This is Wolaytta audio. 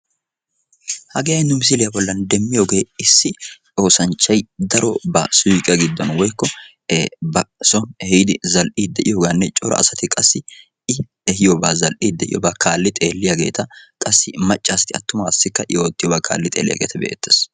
Issi oosanchchay darobba ba suyqqiya giddon zal'iyaganne hegaa kaalli xeelliyagetta.